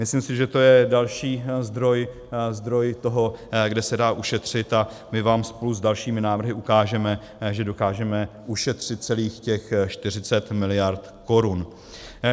Myslím si, že to je další zdroj toho, kde se dá ušetřit, a my vám spolu s dalšími návrhy ukážeme, že dokážeme ušetřit celých těch 40 mld. korun.